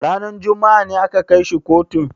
Ranar juma'a ne aka kai shi kotu?